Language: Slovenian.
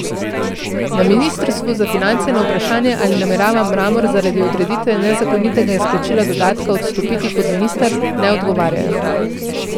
Na ministrstvu za finance na vprašanje, ali namerava Mramor zaradi odreditve nezakonitega izplačila dodatka, odstopiti kot minister, ne odgovarjajo.